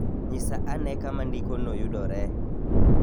Nyisa ane kama ndikono yudoree.